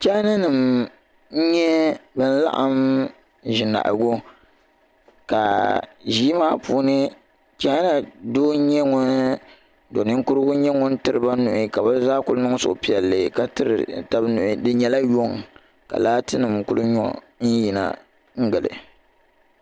Chaana nima n nyɛ ban laɣim ʒinahagu ka ʒii maa puuni chaana doo n nyɛ ŋun do niŋkurugu n nyɛ ŋun tiriba nuhi ka bɛ zaa kuli niŋ suhu piɛlli ka tiri taba nuhi di nyɛla yuŋ ka laati nima kuli nyɔ n yina n gili.